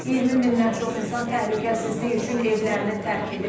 20 mindən çox insan təhlükəsizlik üçün evlərini tərk edib.